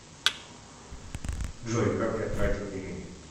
джой как я тратил деньги